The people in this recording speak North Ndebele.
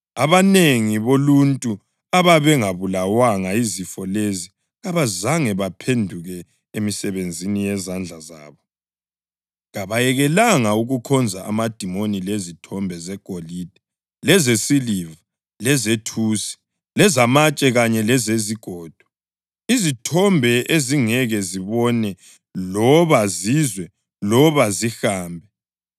Abanengi boluntu ababengabulawanga yizifo lezi kabazange baphenduke emisebenzini yezandla zabo; kabayekelanga ukukhonza amadimoni lezithombe zegolide lezesiliva lezethusi, lezamatshe kanye lezezigodo, izithombe ezingeke zibone loba zizwe loba zihambe.